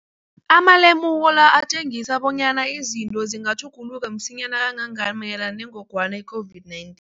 Amalemuko la atjengisa bonyana izinto zingatjhuguluka msinyana kangangani mayelana nengogwana i-COVID-19.